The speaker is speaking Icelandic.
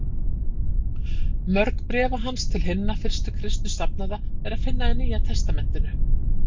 Mörg bréfa hans til hinna fyrstu kristnu safnaða er að finna í Nýja testamentinu.